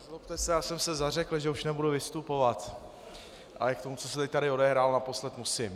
Nezlobte se, já jsem se zařekl, že už nebudu vystupovat, ale k tomu, co se tady odehrálo naposled, musím.